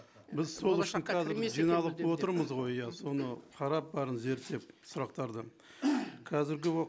біз сол үшін болашаққа кірмесін жиналып болып отырмыз ғой иә соны қарап бәрін зерттеп сұрақтарды қазіргі